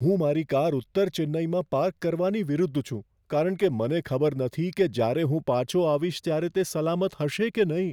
હું મારી કાર ઉત્તર ચેન્નઈમાં પાર્ક કરવાની વિરુદ્ધ છું કારણ કે મને ખબર નથી કે જ્યારે હું પાછો આવીશ ત્યારે તે સલામત હશે કે નહીં.